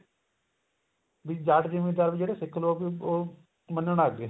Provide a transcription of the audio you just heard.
ਵੀ ਜਾਟ ਜਿਮੀਦਾਰ ਜਿਹੜੇ ਸਿੱਖ ਲੋਕ ਉਹ ਮੰਨਣ ਲੱਗ ਗਏ